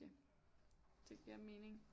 Ja det giver mening